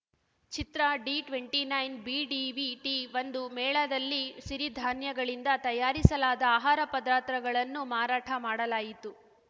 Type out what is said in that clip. ಚಿತ್ರ D twenty ನೈನ್ಬಿಡಿವಿಟಿಒಂದು ಮೇಳದಲ್ಲಿ ಸಿರಿಧಾನ್ಯಗಳಿಂದ ತಯಾರಿಸಲಾದ ಆಹಾರ ಪದಾರ್ಥಗಳನ್ನು ಮಾರಾಟ ಮಾಡಲಾಯಿತು